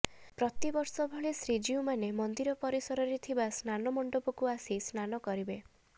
ପ୍ରତିବର୍ଷ ଭଳି ଶ୍ରୀଜୀଉମାନେ ମନ୍ଦିର ପରିସରରେ ଥିବା ସ୍ନାମଣ୍ଡପକୁ ଆସି ସ୍ନାନ କରିବେ